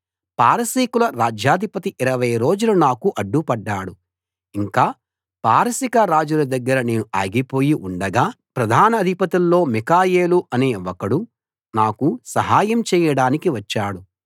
పారసీకుల రాజ్యాధిపతి 20 రోజులు నాకు అడ్డుపడ్డాడు ఇంకా పారసీక రాజుల దగ్గర నేను ఆగిపోయి ఉండగా ప్రధానాధిపతుల్లో మిఖాయేలు అనే ఒకడు నాకు సహాయం చేయడానికి వచ్చాడు